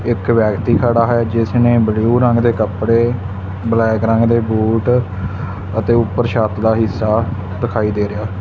ਇੱਕ ਵਿਅਕਤੀ ਖੜਾ ਹੈ ਜਿਸਨੇਂ ਬਲੂ ਰੰਗ ਦੇ ਕੱਪੜੇ ਬਲੈਕ ਰੰਗ ਦੇ ਬੂਟ ਅਤੇ ਊਪਰ ਛੱਤ ਦਾ ਹਿੱਸਾ ਦਿਖਾਈ ਦੇ ਰਿਹਾ।